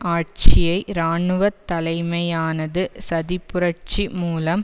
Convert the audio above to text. ஆட்சியை இராணுவ தலைமையானது சதிப்புரட்சி மூலம்